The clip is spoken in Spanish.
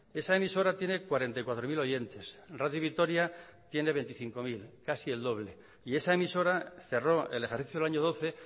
esa emisora tiene cuarenta y cuatro mil oyentes radio vitoria tiene veinticinco mil casi el doble y esa emisora cerró el ejercicio del año doce